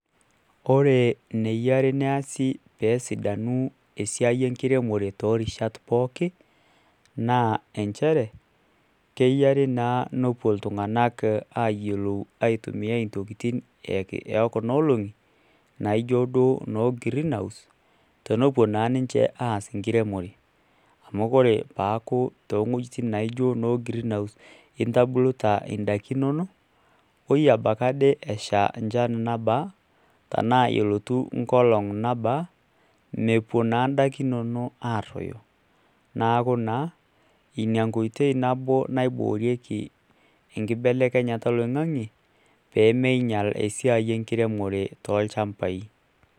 Kore eneyiari neesi peesidanu esiai enkiremore toorubat pooki naa keyiari naa nepuo iltung'anak aayilou aitumiya intokitin ekuna oolong'i naijio duo noo greenhouse tenepuo naa ninche aas enkiremore amu ore peeku toowuejitin naaijio noo greenhouse intobirita indaikin inonok woiebaiki ade esha enchan nabaa tenaa elotu ngolong nabaa mepuo naa indaikin inonok aaroyo neeku naa ina koitoi nabo naiboorieki enkibelekenyata oloing'ange peee meinyial esiai enkiremore tolchambai